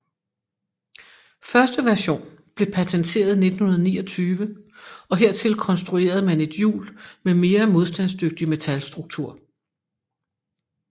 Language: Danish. Første version blev patenteret i 1929 og hertil konstruerede man et hjul med mere modstandsdygtig metalstruktur